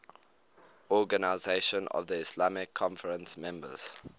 organisation of the islamic conference members